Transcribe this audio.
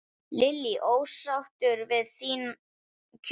Lillý: Ósáttur við þín kjör?